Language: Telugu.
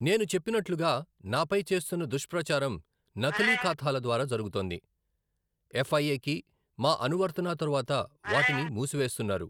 నేను చెప్పినట్లుగా, నాపై చేస్తున్న దుష్ప్రచారం నకిలీ ఖాతాల ద్వారా జరుగుతోంది, ఎఫ్ఐఏ కి మా అనువర్తనా తరువాత వాటిని మూసివేస్తునారు.